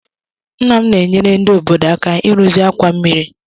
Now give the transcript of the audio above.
Nna m na-enyere ndị obodo aka ịrụzi àkwà mmiri